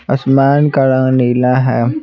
आसमान का रंग नीला है।